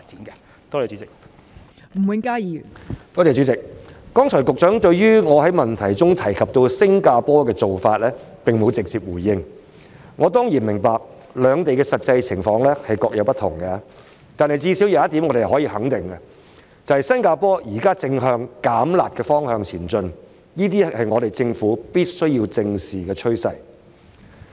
剛才局長並沒有直接回應我在質詢提到的新加坡做法，我當然明白兩地的實際情況不同，但最低限度有一點我們可以肯定的是，新加坡現正向"減辣"的方向前進，這是政府必須正視的趨勢。